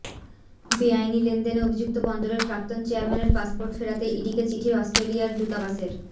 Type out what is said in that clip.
বেআইনি লেনদেনে অভিযুক্ত বন্দরের প্রাক্তন চেয়ারম্যানের পাসপোর্ট ফেরাতে ইডিকে চিঠি অস্ট্রেলিয়ার দূতাবাসের